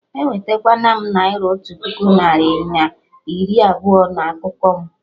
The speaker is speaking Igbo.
Ewetekwana naira otu puku narị na iri abụọ na akụkụ mụ!